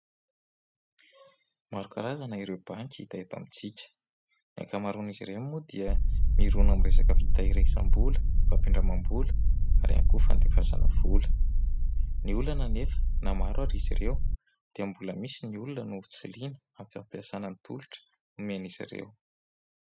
Maro karazana ireo banky hita eto amintsika. Ny ankamaroan'izy ireny moa dia mirona amin'ny resaka fitehirizam-bola, fampindramam-bola ary ihany koa fandefasana vola. Ny olana anefa na maro aza izy ireo dia mbola misy ny olona no tsy liana amin'ny fampiasana ny tolotra omen'izy ireo.